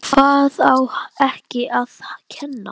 Hvað á ekki að kenna?